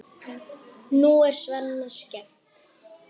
Nú er Svenna skemmt.